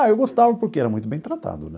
Ah, eu gostava porque era muito bem tratado, né?